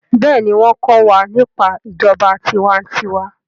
béèni wón ko wà nípa ìjọba tiwa-n-tiwa.